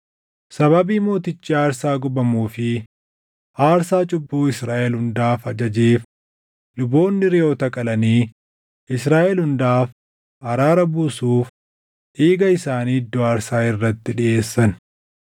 Sababii mootichi aarsaa gubamuu fi aarsaa cubbuu Israaʼel hundaaf ajajeef luboonni reʼoota qalanii Israaʼel hundaaf araara buusuuf dhiiga isaanii iddoo aarsaa irratti dhiʼeessan.